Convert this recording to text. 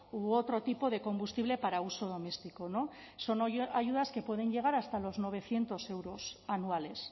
u otro tipo de combustible para uso doméstico son ayudas que pueden llegar hasta los novecientos euros anuales